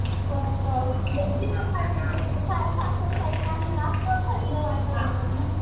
परत सासवड साईडला आले ना तर नाही का